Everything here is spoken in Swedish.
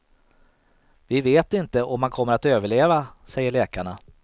Vi vet inte om han kommer att överleva, säger läkarna.